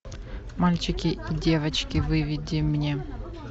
мальчики и девочки выведи мне